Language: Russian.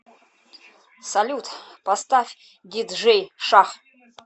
салют поставь диджей шах